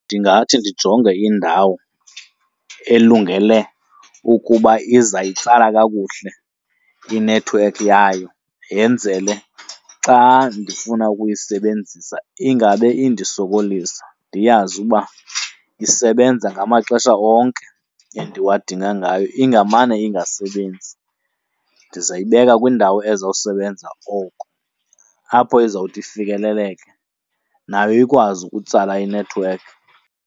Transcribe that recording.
Ndingathi ndijonge indawo elungele ukuba izayitsala kakuhle inethiwekhi yayo, yenzele xa ndifuna ukuyisebenzisa ingabe indisokolisa. Ndiyazi uba isebenza ngamaxesha onke endiwadinga ngayo, ingamane ingasebenzi. Ndizayibeka kwindawo ezawusebenza oko, apho izawuthi ifikeleleke nayo ikwazi ukutsala inethiwekhi.